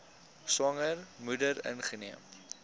swanger moeder ingeneem